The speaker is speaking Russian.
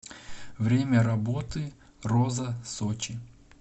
время работы роза сочи